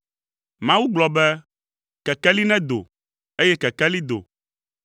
Mawu gblɔ be, “Kekeli nedo.” Eye kekeli do.